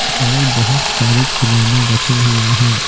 और बहुत सारे खिलौने रखे हुए हैं।